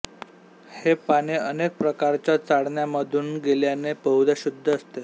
हे पाणे अनेक प्रकारच्या चाळण्यामधून गेल्याने बहुदा शुद्ध असते